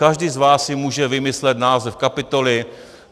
Každý z vás si může vymyslet název kapitoly.